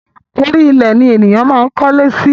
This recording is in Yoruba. Orí ilẹ̀ ni ènìyàn máa ń kólé sí